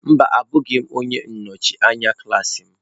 Mba, abụghị m onye nnọchi anya klaasị m.